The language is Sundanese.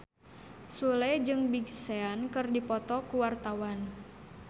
Sule jeung Big Sean keur dipoto ku wartawan